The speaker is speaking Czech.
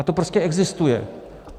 A to prostě existuje.